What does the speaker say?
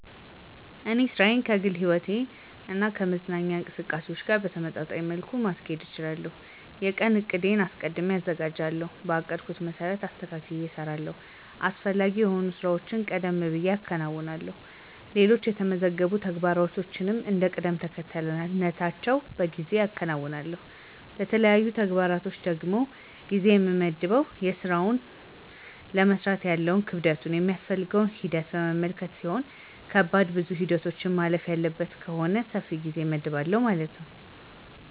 እኔ ሥራዬን ከግል ሕይወቴ እና ከመዝናኛ እንቅስቃሴዎች ጋር በተመጣጣኝ መልኩ ማስኬድ እችላለሁ። የቀኑን ዕቅድ አስቀድሜ አዘጋጃለሁ, በአቀድኩት መሰረትም አስተካክየ እሰራለሁ። አስፈላጊ የሆኑ ሥራዎችን ቀደም ብየ አከናውንና ሌሎች የተመዘገቡ ተግባሮችን እንደ ቅደምተከተላቸው በጊዜ አከናውናለሁ። ለተለያዩ ተግባሮች ደግሞ ጊዜ የምመድበው የስራውን ለመስራት ያለውን ክብደቱን ,የሚያስፈልገውን ሂደት በመመልከት ሲሆን ከባድና ብዙ ሂደቶችን ማለፍ ያለበት ከሆነ ሰፊ ጊዜ እመድብለታለሁ ማለት ነው።